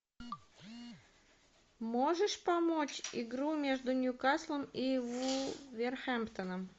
можешь помочь игру между ньюкаслом и вулверхэмптоном